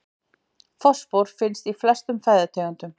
Fosfór finnst í flestum fæðutegundum.